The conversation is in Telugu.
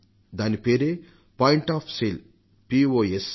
దానిపేరు పాయింట్ ఆఫ్ సేల్ పోస్